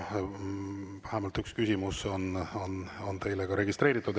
Vähemalt üks küsimus on teile ka registreeritud.